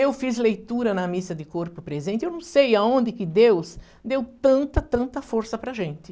Eu fiz leitura na missa de corpo presente, eu não sei aonde que Deus deu tanta, tanta força para a gente.